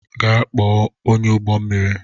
Gaa kpo ọnyáụgbọ mmiri!